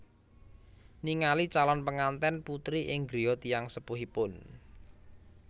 Ningali calon pengantèn putri ing griya tiyang sepuhipun